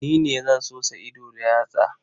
Ni ne zan sosa ido da yatsa.